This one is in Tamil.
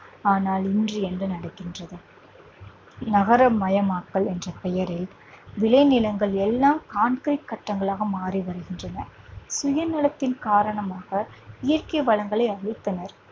ஆனால் இன்று என்ன நடக்கின்றது நகரமயமாக்கல் என்ற பெயரில் விளைநிலங்கள் எல்லாம் concrete கட்டிடங்களாக மாறி வருகின்றன சுயநலத்தின் காரணமாக இயற்கை வளங்களை அழித்தனர்